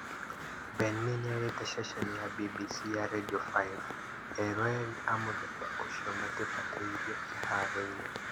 Ben mee nĩerĩte ceceni ya BBC ya Radio 5 "eroreri a mũthemba ũcio matibataire kĩharoo-inĩ"